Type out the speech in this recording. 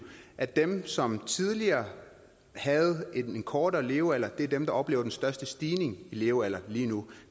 at dem som tidligere havde en kortere levealder er dem der oplever den største stigning i levealder lige nu